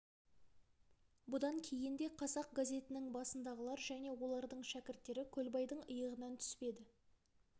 бұдан кейін де қазақ газетінің басындағылар және олардың шәкірттері көлбайдың иығынан түспеді